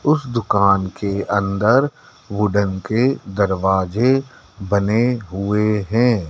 उसे दुकान के अंदर वुडन के दरवाजे बने हुए हैं।